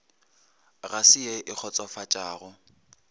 ga se ye e kgotsofatšago